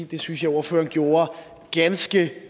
det synes jeg ordføreren gjorde ganske